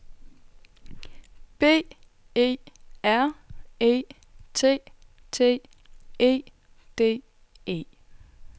B E R E T T E D E